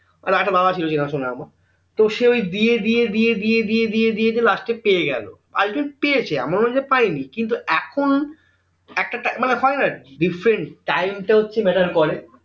অরে একটা মামা ছিল চেনাশোনা আমার তো সে ওই দিয়ে দিয়ে দিয়ে দিয়ে দিয়ে দিয়ে দিয়ে last এ পেয়ে গেলো আগে পেয়েছে এমন না যে পাইনি কিন্তু এখন একটা টা মানে হয় না আর কি different time টা হচ্ছে matter করে